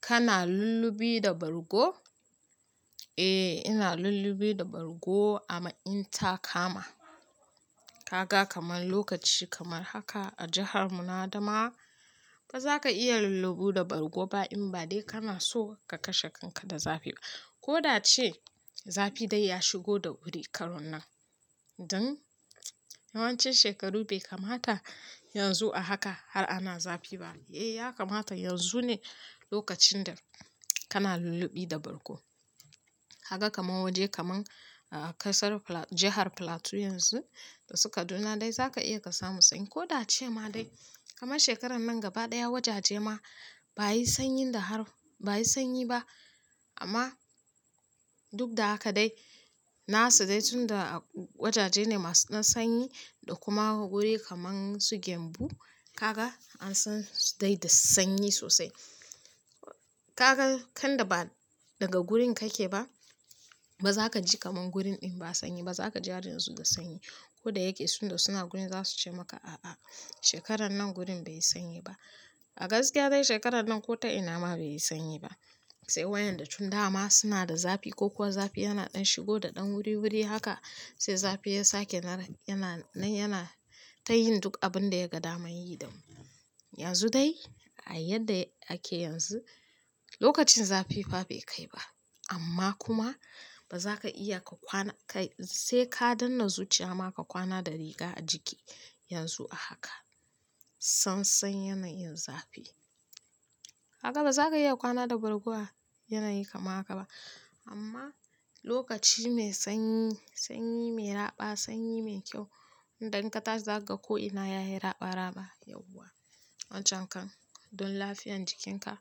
Kana lullubi da bargo? Eh ina lullubi da bargo amma in ta kama. Kaga kamar lokaci kamar haka a jihar mu na Adamawa, ba za ka iya lulluɓi da bargo ba in ba dai kana so ka kashe kanka da zafi ba. Ko da ace zafi dai ya shigo da wuri karon nan. Don yawancin shekaru bai kamata yanzu a haka har ana zafi ba. Eh ya kamata yanzu ne lokacin da kana lulluɓi da bargo. Kaga kamar waje kaman kasar-- jihar Plateau yanzu da su Kaduna dai za ka iya ka samu sanyi. Ko da ce ma dai kamar shekarar nan gaba ɗaya wajaje ma ba'ayi sanyin da har ba'a yi sanyi ba amma duk da haka dai na su dai tunda wajaje ne masu dan sanyi da kuma wuri kaman su Gembu, ka ga an san su dai da sanyi sosai. Kaga tunda ba daga gurin kake ba, ba za ka ji kamab gurin ɗin ba sanyi ba. Za ka ji har yanzu da sanyi. Ko da yake suna gurin za su ce maka "a'a shekarar nan gurin bai yi sanyi ba". A gaskiya dai shekarar nan ko ta ina ma bai yi sanyi ba. Sai wayanda tun dama suna da zafi ko kuwa zafi yana ɗan shigo da ɗan wuri wuri haka sai zafi ya sake na yana na yana ta yin duk abin da ya ga dama yi damu. Yanzu dai, a yadda ake yanzu, lokacin zafi fa bai kai ba amma kuma ba za ka iya ka kwana kai sai ka danne zuciya ma ka kwana da riga a jiki yanzu a haka. Sansan yanayin zafi. Kaga ba za ka iya kwana da bargo a yanayi kamar haka ba amma lokaci mai sanyi, sanyi mai raɓa, sanyi mai kyau, idan ka tashi za kaga ko ina ya yi raɓa raɓa yauwa. Wancan kan don lafiyar jikinka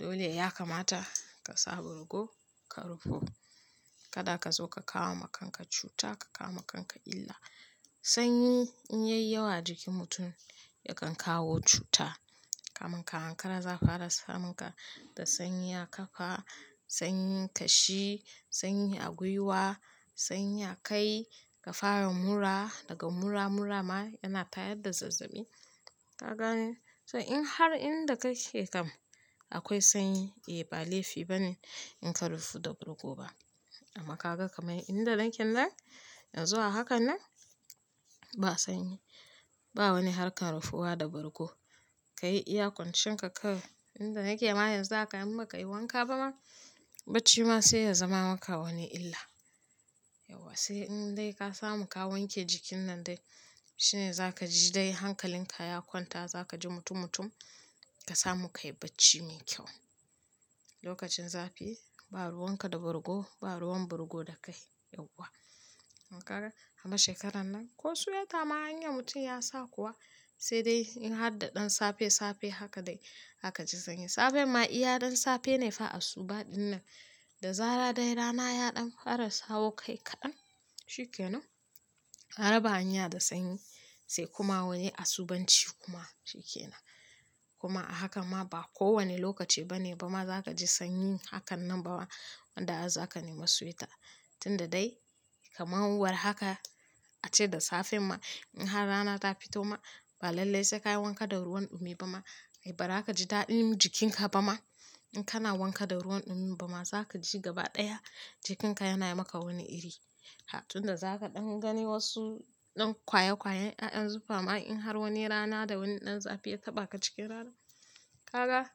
dole ya kamata ka sa bargo, ka rufu. Kada ka zo ka kawo ma kanka cuta, ka kawo ma kanka illa. Sanyi in ya yi yawa a jikin mutum yakan kawo cuta kamar ka ankara za a kara samun ka da sanyi a kafa, sanyin kashi, sanyi ya a gwiwa, sanyi a kai, ka fara mura, daga mura, mura ma yana tayar da zazzabi. Kaga in har inda kake kam akwai sanyi eh ba laifi bane in ka rufa da bargo ba. Amma ka ga kaman inda naken nan yanzu a haka nan ba sanyi. Ba wani harkar rufuwa da bargo. Ka yi iya kwancin ka kawai. Inda nake ma yanzu haka in bakayi wanka ba ma, bacci ma sai ya zama maka wani illa. Yauwa sai in dai ka samu ka wanke jikin nan dai shine za ka ji dai hankalin ka ya kwanta za ka ji mutum mutum ka samu ka yi bacci mai kyau. Lokacin zafi ba ruwan ka da bargo ba ruwan bargo da kai, yauwa. Kaga amma shekarar nan ko suwaita ma anya mutum ya sa kuwa? Sai dai in har da ɗan safe safe haka dai zaka ji sanyi. Safen ma iya ɗan safe ne fa asuba ɗin nan da zara dai rana ya ɗan fara sawo kai kaɗan shike nan. Ka raba hanya da sanyi, sai kuma wani asubanci kuma shike nan. Kuma a hakan ma ba kowane lokaci ba ne ba ma za ka ji sanyi hakan nan ba wanda har za ka nema suwayita. Tunda dai kama war haka, ace da safe ma, in har rana ta fito ma ba lallai sai ka yi wanka da ruwan ɗumi ba ma. Ai bara ka ji daɗin jikinka ba ma. In kana wanka da ruwan ɗumi ba ma za ka ji gaba ɗaya jikinka yana yi maka wani iri. Tunda za ka ɗan gani wasu ɗan kwaya kwayen ƴaƴan zufa ma in har wani rana da wani ɗan zafi ya taɓa ka cikin rana. Kaga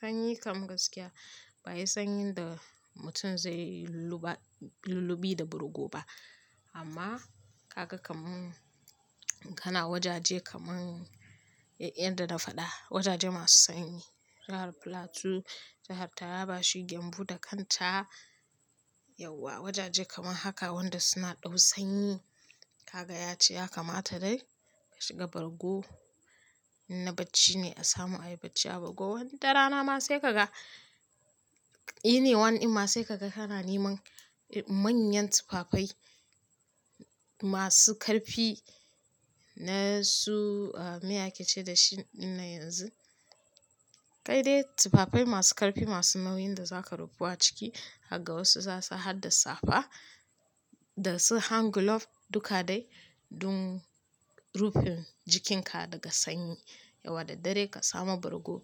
sanyi kam gaskiya ba'ayi sanyin da mutum zai lulluba-- lullubi da bargo ba, amma ka ga kaman kana wajaje kaman yadda na faɗa, wajaje masu sanyi. Jihar Plateau, jihar Taraba, shi Gembu da kanta yauwa wajaje kamar haka wanda suna ɗau sanyi. Kaga ya ci ya kamata dai ka shiga bargo. In na bacci ne a samu ayi bacci a bargo wata rana ma sai ka ga, Ine wani in ma sai ka ga kana neman manyan tufafai masu karfi na su meye ake ce dashi ɗin nan yanzu. Kai dai tufafai masu karfi masu nauyin da za ka rufu a ciki zakaga wasu za'asa hadda safa da su hand glove duka dai don rufin jikinka daga sanyi. Yauwa da dare ka samo bargo.